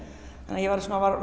ég var